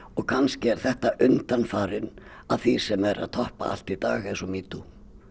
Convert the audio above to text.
kannski er þetta undanfarinn að því sem er að toppa allt í dag eins og metoo